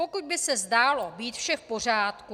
Potud by se zdálo být vše v pořádku.